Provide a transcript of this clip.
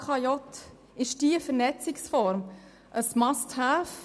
Ist diese Vernetzungsform ein «Must-have»?